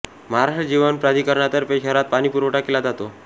महाराष्ट्र जीवन प्राधिकरणातर्फे शहरात पाणी पुरवठा केला जातो